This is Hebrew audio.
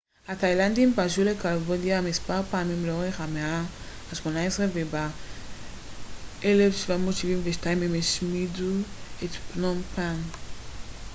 התאילנדים פלשו לקמבודיה מספר פעמים לאורך המאה ה-18 וב-1772 הם השמידו את פנום פן